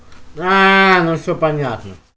аа ну всё понятно